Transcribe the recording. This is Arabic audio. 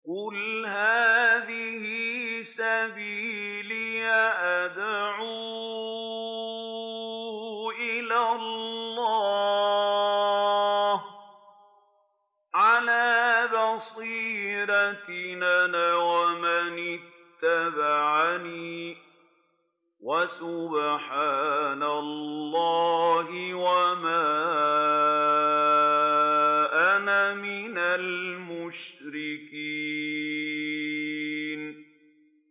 قُلْ هَٰذِهِ سَبِيلِي أَدْعُو إِلَى اللَّهِ ۚ عَلَىٰ بَصِيرَةٍ أَنَا وَمَنِ اتَّبَعَنِي ۖ وَسُبْحَانَ اللَّهِ وَمَا أَنَا مِنَ الْمُشْرِكِينَ